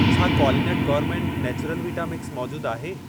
छा क्वालिनट gourmet natural vita mix मौजूद आहे?